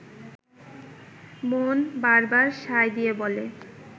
মন বারবার সায় দিয়ে বলে